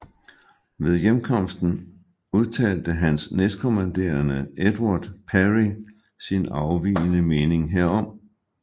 Ved hjemkomsten udtalte hans næstkommanderende Edward Parry sin afvigende mening herom